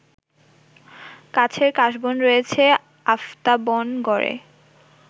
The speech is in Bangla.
কাছের কাশবন রয়েছে আফতাবনগরে